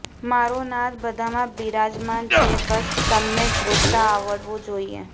મારો નાથ બધામાં બિરાજમાન છે બસ તમને ગોતતા આવડવો જોઈએ